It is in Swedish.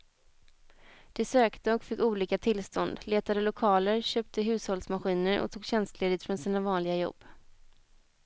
De sökte och fick olika tillstånd, letade lokaler, köpte hushållsmaskiner och tog tjänstledigt från sina vanliga jobb.